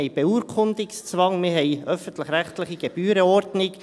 Wir haben Beurkundungszwang, wir haben eine öffentlich-rechtliche Gebührenordnung.